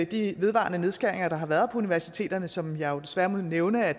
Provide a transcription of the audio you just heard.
de vedvarende nedskæringer der har været på universiteterne som jeg jo desværre må nævne at